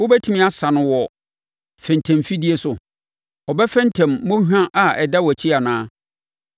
Wobɛtumi asa no wɔ fentemfidie so? Ɔbɛfentem mmɔnhwa a ɛda wʼakyi anaa?